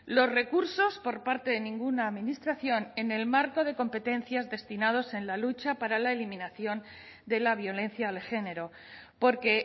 los recursos por parte de ninguna administración en el marco de competencias destinados en la lucha para la eliminación de la violencia de género porque